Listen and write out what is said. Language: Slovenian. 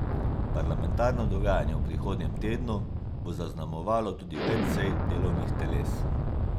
Parlamentarno dogajanje v prihodnjem tednu bo zaznamovalo tudi več sej delovnih teles.